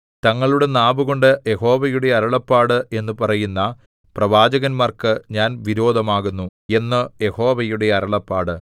തങ്ങളുടെ നാവുകൊണ്ട് യഹോവയുടെ അരുളപ്പാട് എന്നു പറയുന്ന പ്രവാചകന്മാർക്ക് ഞാൻ വിരോധമാകുന്നു എന്ന് യഹോവയുടെ അരുളപ്പാട്